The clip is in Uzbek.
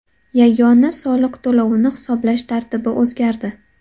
Yagona soliq to‘lovini hisoblash tartibi o‘zgardi.